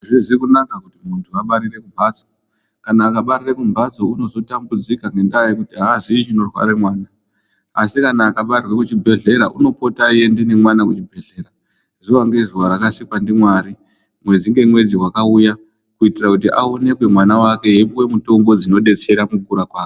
Azvizi kunaka kuti muntu abarire mumbatso. Kana akabarire mumbatso unozotambudzika ngenda yekuti aaziyi chinorware mwana. Asi kana akabarirwa kuchibhehlera unopota eienda nemwana kuchibhehlera zuwa ngezuwa rakasikwa ndiMwari, mwedzi nemwedzi wakauya kuitira kuti aonekwe mwana eipuwa mutombo dzindetsera mukukura kwake.